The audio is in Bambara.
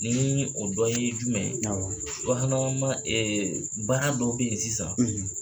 Nii o dɔ ye jumɛn ye, awɔ subahanama ma baara dɔ be ye sisan